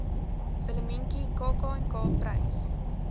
willemientjie kknk prys